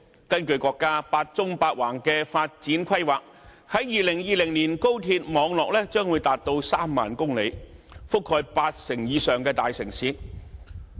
根據國家"八縱八橫"的發展規劃，在2020年，高鐵網絡將會長達3萬公里，並覆蓋八成以上的大城市。